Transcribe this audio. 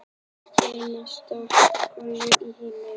Hver minnsta könguló í heimi?